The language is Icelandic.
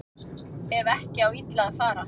Ef ekki á illa að fara